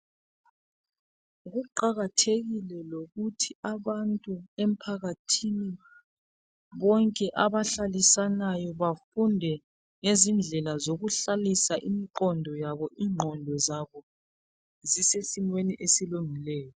Kuqakathekile lokuthi abantu emphakathini bonke abahlalisanayo bafunde ngezindlela zokuhlalisa imiqondo yabo ingqondo zabo zise simeni esiqondileyo.